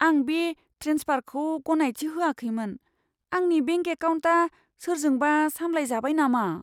आं बे ट्रेन्सफारखौ गनायथि होआखैमोन। आंनि बेंक एकाउन्टआ सोरजोंबा सामलायजाबाय नामा?